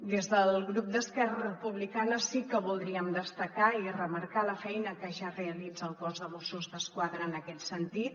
des del grup d’esquerra republicana sí que voldríem destacar i remarcar la feina que ja realitza el cos de mossos d’esquadra en aquest sentit